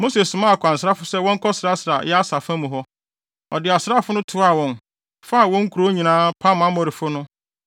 Mose somaa akwansrafo sɛ wɔnkɔsrasra Yaser fa mu hɔ. Ɔde asraafo toaa wɔn, faa wɔn nkurow nyinaa, pam Amorifo no.